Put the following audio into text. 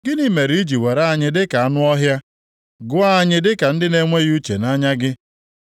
Gịnị mere i ji were anyị dịka anụ ọhịa, gụọ anyị dịka ndị na-enweghị uche nʼanya gị?